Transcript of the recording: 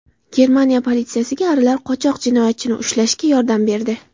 Germaniya politsiyasiga arilar qochoq jinoyatchini ushlashga yordam berdi.